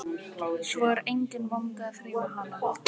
Svo er enginn vandi að þrífa hana.